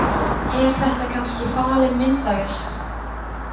Er þetta kannski falin myndavél?